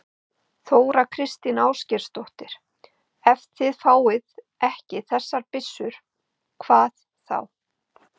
Þóra Kristín Ásgeirsdóttir: Ef þið fáið ekki þessar byssur, hvað þá?